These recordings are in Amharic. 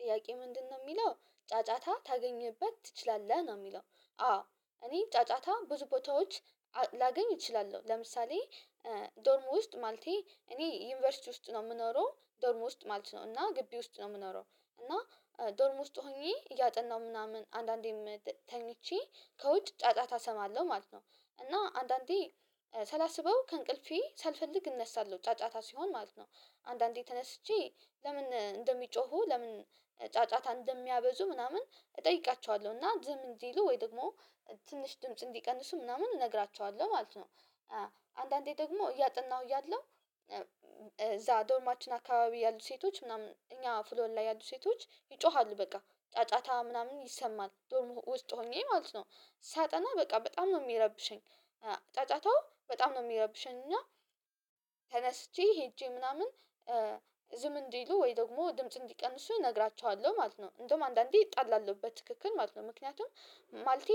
ጥያቄ ምንድነው የሚለው ጫጫታ ታገኝበት ትችላለህ ነው የሚለው? አዎ እኔ ጫጫታ ብዙ ቦታዎች ላገኝ እችላለሁ። ለምሳሌ ዶርም ውስጥ ማለቴ እኔ ዩኒቨርሲቲ ውስጥ ነው የምኖረው ዶርም ውስጥ ማለት ነው እና ግቢ ውስጥ ነው የምኖረው እና ዶርም ውስጥ ሆኜ እያጠናሁ ምናምን አንዳንዴ ተኝቼ ከውጭ ጫጫታ እሰማለሁ ማለት ነው። እና አንዳንዴ ሳላስበው ከእንቅልፌ ሳልፈልግ እነሳለሁ ጫጫታ ሲሆን ማለት ነው። አንዳንዴ ተነስቼ ለምን እንደሚጮሁ ለምን ጫጫታ እንደሚያበዙ ምናምን እጠይቃቸዋለሁ እና ዝም እንዲሉ ወይ ደግሞ ትንሽ ድምጽ እንዲቀንሱ ምናምን እነግራቸዋለሁ ማለት ነው። አንዳንዴ ደግሞ እያጠናሁ እያለሁ እዛ ዶርማችን አካባቢ ያሉ ሴቶች ምናምን እኛ ፍሎር ላይ ያሉ ሴቶች ይጮሃሉ በቃ ጫጫታ ምናምን ይሰማል ዶርም ውስጥ ሆኜ ማለት ነው ሳጠና በቃ በጣም ነው የሚረብሸኝ ጫጫታው በጣም ነው የሚረብሸኝ። እና ተነስቼ ሄጄ ምናምን ዝም እንዲሉ ወይ ደግሞ ድምጽ እንዲቀንሱ እነግራችኋለሁ ማለት ነው። እንደውም አንዳንዴ እጣላለሁ በትክክል ማለት ነው ምክንያቱም ማለቴ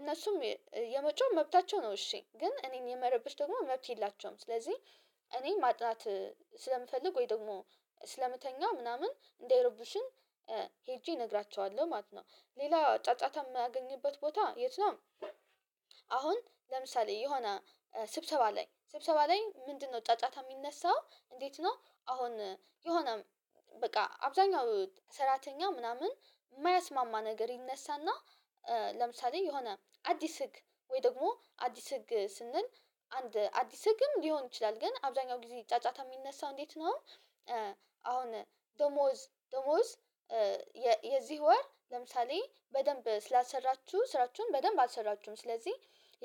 እነሱም የመጮህ መብታቸው ነው እሺ ግን እኔን የመረበሽ ደግሞ መብት የላቸውም። ስለዚህ እኔን ማጥናት ስለምፈልግ ወይ ደግሞ ስለምተኛ ምናምን እንዳይረብሹኝ ሄጄ እነግራቸዋለሁ ማለት ነው። ሌላ ጫጫታ የማገኝበት ቦታ የት ነው? አሁን ለምሳሌ የሆነ ስብሰባ ላይ ስብሰባ ላይ ምንድነው ጫጫታ የሚነሳው እንዴት ነው? አሁን የሆነ በቃ አብዛኛው ሰራተኛ ምናምን የማያስማማ ነገር ይነሳና ለምሳሌ የሆነ አዲስ ህግ ወይ ደግሞ አዲስ ህግ ስንል አንድ አዲስ ህግም ሊሆን ይችላል ግን አብዛኛው ጊዜ ጫጫታ የሚነሳው እንዴት ነው? አሁን ደሞዝ ደሞዝ የ የዚህ ወር ለምሳሌ በደንብ ስላልሰራችሁ ስራችሁን በደንብ አልሰራችሁም ስለዚህ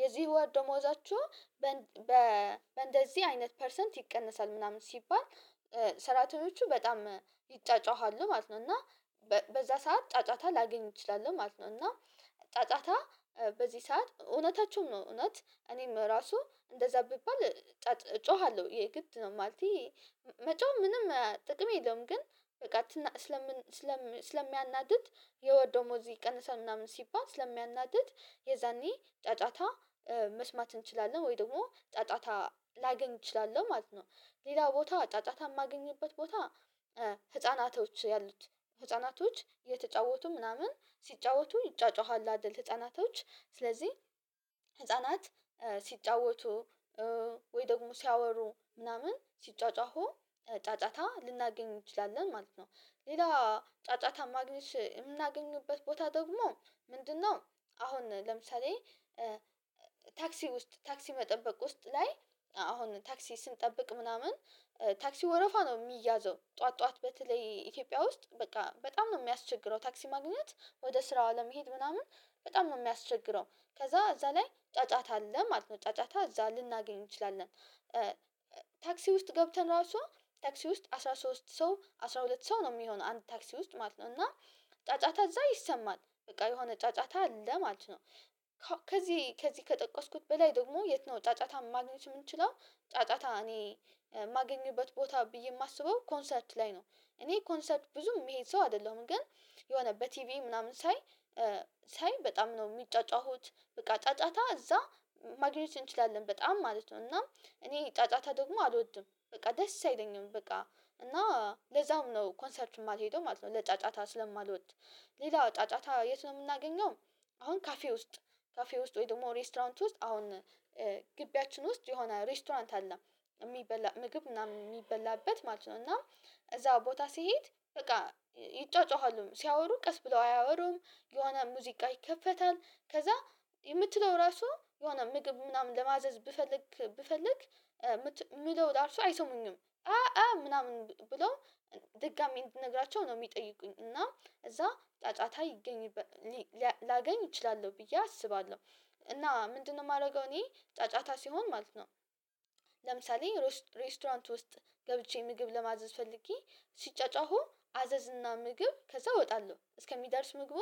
የዚህ ወር ደሞዛችሁን በእንደዚህ አይነት ፐርሰንት ይቀነሳል ምናምን ሲባል ሰራተኞቹ በጣም ይጫጫኋሉ ማለት ነው። እና በዛ ሰዓት ጫጫታ ላገኝ እችላለሁ ማለት ነው። እና ጫጫታ በዚህ ሰዓት እውነታቸውን ነው እውነት እኔም ራሱ እንደዛ ብባል እጮሃለሁ የግድ ነው ማለቴ መጮህ ምንም ጥቅም የለውም። ግን በቃ ስለምን ስለምን ስለሚያናድድ የወር ደሞዙ ይቀንሳል ምናምን ሲባል ስለሚያናድድ የዛኔ ጫጫታ መስማት እንችላለን ወይ ደግሞ ጫጫታ ላገኝ እችላለሁ ማለት ነው። ሌላ ቦታ ጫጫታ የማገኝበት ቦታ ህፃናቶች ያሉት ህፃናቶች የተጫወቱ ምናምን ሲጫወቱ ይጫጯሀሉ አይደል ህፃናቶች ስለዚህ ህፃናት ሲጫወቱ ወይ ደግሞ ሲያወሩ ምናምን ሲጯጯሁ ጫጫታ ልናገኝ እንችላለን ማለት ነው። ሌላ ጫጫታ ማግኘት የምናገኝበት ቦታ ደግሞ ምንድነው? አሁን ለምሳሌ ታክሲ ውስጥ ታክሲ መጠበቅ ውስጥ ላይ አሁን ታክሲ ስንጠብቅ ምናምን ታክሲው ወረፋ ነው ሚያዘው ጠዋት ጠዋት በተለይ ኢትዮጵያ ውስጥ በቃ በጣም ነው የሚያስቸግረው ታክሲ ማግኘት ወደ ስራው አለመሄድ ምናምን በጣም ነው የሚያስቸግረው። ከዛ እዛ ላይ ጫጫታ አለ ማለት ነው ጫጫታ እዛ ልናገኝ እንችላለን። ታክሲ ውስጥ ገብተን ራሱ ታክሲ ውስጥ አስራ ሶስት ሰው አስራ ሁለት ሰው ነው የሚሆነው አንድ ታክሲ ውስጥ ማለት ነው እና ጫጫታ እዛ ይሰማል በቃ የሆነ ጫጫታ አለ ማለት ነው። ከዚህ ከዚህ ከጠቀስኩት በላይ ደግሞ የት ነው ጫጫታ ማግኘት የምንችለው? ጫጫታ እኔ የማገኝበት ቦታ ብዬ የማስበው ኮንሰርት ላይ ነው። እኔ ኮንሰርት ብዙም ምሄድ ሰው አይደለሁም ግን የሆነ በቲቪ ምናምን ሳይ ሳይ በጣም ነው የሚጫጫሁት በቃ ጫጫታ እዛ ማግኘት እንችላለን በጣም ማለት ነው እናም እኔ ጫጫታ ደግሞ አልወድም በቃ ደስ አይለኝም በቃ እና ለዛም ነው ኮንሰርት የማልሄደው ማለት ነው። ለጫጫታ ስለማልወድ ሌላው ጫጫታ የት ነው የምናገኘው? አሁን ካፌ ውስጥ ካፌ ውስጥ ወይ ደግሞ ሬስቶራንት ውስጥ አሁን ግቢያችን ውስጥ የሆነ ሬስቶራንት አለ እሚበላ ምግብ ምናምን የሚበላበት ማለት ነው። እና እዛ ቦታ ስሄድ በቃ ይጯጯሃሉ ሲያወሩ ቀስ ብለው አያወሩም የሆነ ሙዚቃ ይከፈታል ከዛ የምትለው ራሱ የሆነ ምግብ ምናምን ለማዘዝ ብፈልግ ብፈልግ ምለው ራሱ አይሰሙኝም አአ ምናምን ብሎ ድጋሚ እንድነግራቸው ነው የሚጠይቁኝ እና እዛ ጫጫታ ይገኝበ ላገኝ እችላለሁ ብዬ አስባለሁ። እና ምንድነው ማረገው እኔ ጫጫታ ሲሆን ማለት ነው። ለምሳሌ ሬስቶራንት ውስጥ ገብቼ ምግብ ለማዘዝ ፈልጌ ሲጫጫሁ አዘዝና ምግብ ከዛ እወጣለሁ እስከሚደርስ ምግቡ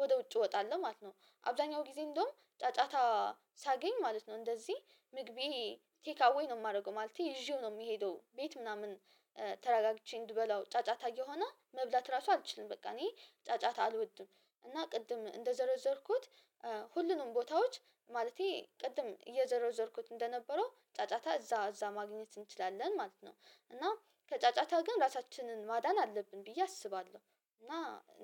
ወደ ውጭ እወጣለሁ ማለት ነው። አብዛኛው ጊዜ እንደውም ጫጫታ ሳገኝ ማለት ነው እንደዚህ ምግቤ ቴካዌ ነው የማረገው ማለቴ ይዤው ነው የምሄደው ቤት ምናምን ተረጋግቼ እንድበላው ጫጫታ እየሆነ መብላት ራሱ አልችልም። በቃ እኔ ጫጫታ አልወድም። እና ቅድም እንደዘረዘርኩት ሁሉንም ቦታዎች ማለቴ ቅድም እየዘረዘርኩት እንደነበረው ጫጫታ እዛ እዛ ማግኘት እንችላለን ማለት ነው። እና ከጫጫታ ግን ራሳችንን ማዳን አለብን ብዬ አስባለሁ እና።